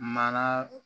Mana